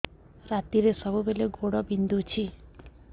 ରାତିରେ ସବୁବେଳେ ଗୋଡ ବିନ୍ଧୁଛି